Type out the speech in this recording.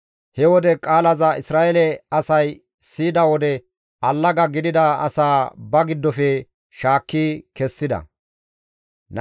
He woga qaalaza Isra7eele asay siyida wode allaga gidida asaa ba giddofe shaakki kessida.